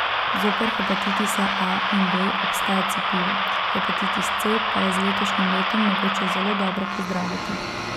Zoper hepatitisa A in B obstaja cepivo, hepatitis C pa je z letošnjim letom mogoče zelo dobro pozdraviti.